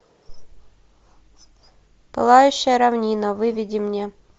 пылающая равнина выведи мне